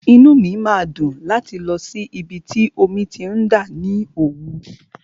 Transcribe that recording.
Inú mi máa dùn láti lọ sí ibi tí omi ti ń dà ní Òwú.